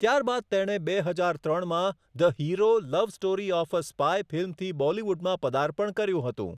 ત્યારબાદ તેણે બે હજાર ત્રણમાં 'the hero love story of a spy' ફિલ્મથી બોલીવુડમાં પદાર્પણ કર્યું હતું.